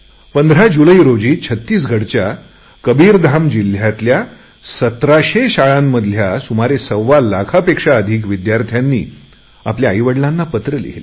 पंधरा जुलै रोजी छत्तीसगढच्या कबीरधाम जिल्ह्यातल्या सतराशे शाळातल्या सुमारे सव्वालाखाहून अधिक विद्यार्थ्यांनी आपल्या आईवडिलांना चिठ्ठी लिहिली